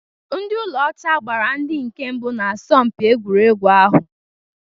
Ndị ụlọ ọcha gbara ndị nke mbụ na asọmpi egwuregwu ahụ